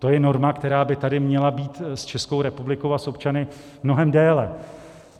To je norma, která by tady měla být s Českou republikou a s občany mnohem déle.